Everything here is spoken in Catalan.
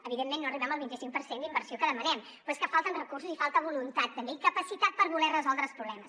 evidentment no arribem al vinti cinc per cent d’inversió que demanem però és que falten recursos i falta voluntat també i capacitat per voler resoldre els problemes